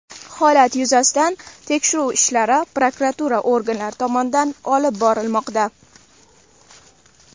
Holat yuzasidan tekshiruv ishlari prokuratura organlari tomonidan olib borilmoqda.